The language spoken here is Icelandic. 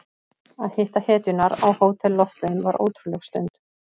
Að hitta hetjurnar á Hótel Loftleiðum var ótrúleg stund.